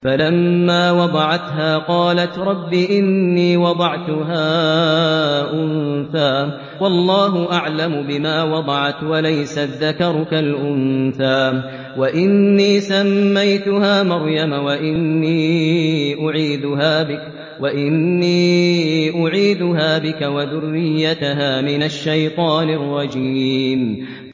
فَلَمَّا وَضَعَتْهَا قَالَتْ رَبِّ إِنِّي وَضَعْتُهَا أُنثَىٰ وَاللَّهُ أَعْلَمُ بِمَا وَضَعَتْ وَلَيْسَ الذَّكَرُ كَالْأُنثَىٰ ۖ وَإِنِّي سَمَّيْتُهَا مَرْيَمَ وَإِنِّي أُعِيذُهَا بِكَ وَذُرِّيَّتَهَا مِنَ الشَّيْطَانِ الرَّجِيمِ